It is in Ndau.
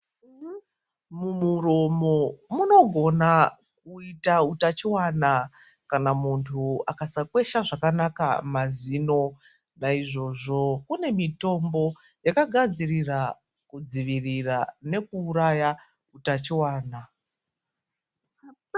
Mumuromo munogona kuyita hutachiwana, kana muntu akasakwesha zvakanaka mazino, naizvozvo kune mitombo yakagadzirira kudzivirira nekuuraya utachiwana.